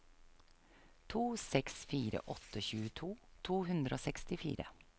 to seks fire åtte tjueto to hundre og sekstifire